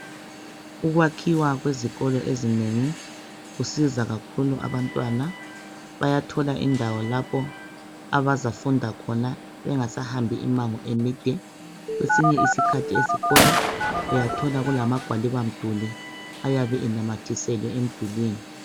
ukwakhiwa kweziolo ezinengi kusiza kakhulu abantwana bayathola indawo lapho abazafunda khona bengasahambi imango emide kwesinye isikhathi esikolo uyathola kulamagwaliba mduli ayabe enamathiselwe emdulini